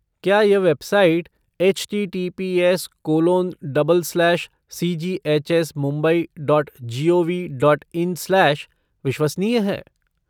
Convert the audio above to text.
क्या यह website HTTPS colon double slash cghsmumbai dot GOV dot in slash विश्वसनीय है?